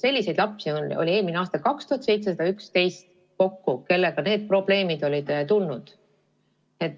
Selliseid lapsi oli eelmisel aastal kokku 2711, kelle puhul need probleemid tekkisid.